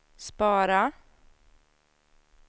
spara